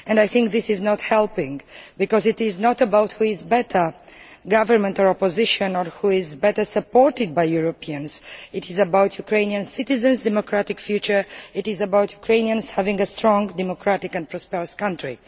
I think this does not help, because it is not about who is better government or opposition or who is better supported by the Europeans, it is about Ukrainian citizens' democratic future, and about Ukrainians having a strong, democratic and prosperous country.